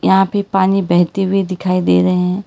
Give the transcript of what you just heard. यहां भी पानी बहती हुई दिखाई दे रहे हैं।